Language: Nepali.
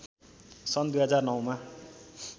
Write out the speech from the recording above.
सन् २००९ मा